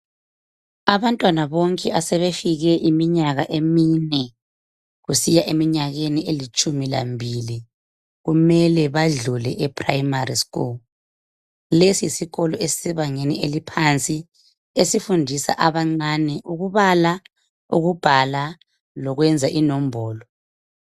Abantwana bonke asebefike iminyaka emine kusiya eminyakeni elitshumi lambili . Kumele badlule eprimary school .Lesi yisikolo esisebangeni eliphansi esifundisa abancane ukubala, ukubhala lokwenza inombolo.